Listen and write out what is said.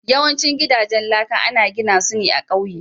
Yawancin gidajen laka ana gina su ne a ƙauye.